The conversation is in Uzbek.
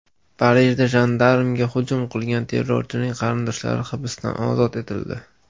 Parijda jandarmga hujum qilgan terrorchining qarindoshlari hibsdan ozod etildi.